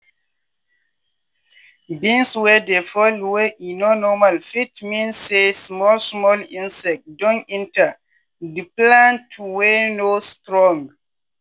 beans wey dey fold wey e no normal fit mean say small small insect don enter di plant wey no strong.